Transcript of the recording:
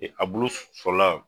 E a bulu fɔlɔ la?